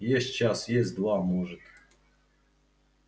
есть час есть два может